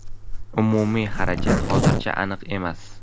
Umumiy xarajat hozircha aniq emas.